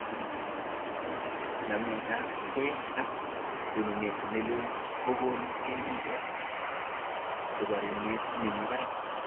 Nametabke ak tonunet nelel kokoni KEF kaborunet nemi barak